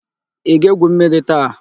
Ị ga-égwù mmiri taa?